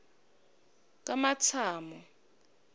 kamatsamo